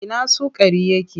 Ina sukari yake?